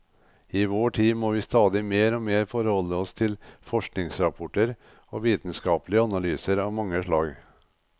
I vår tid må vi stadig mer og mer forholde oss til forskningsrapporter og vitenskapelige analyser av mange slag.